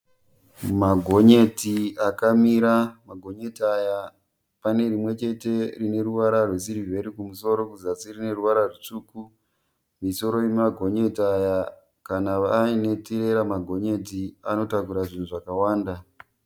Magonyeti akamira. Magonyeti aya panerimwechete rine ruvara rwesiriveri kumusoro kuzasi kune ruvara rutsvuku. Misoro yemagonyeti aya, kana aine matirera magonyeti anotakura zvinhu zvakawanda.